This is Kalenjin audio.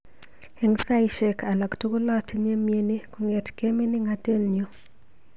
Eng saishek alak tugul atinye mnyeni kongetkei miningatet nyu.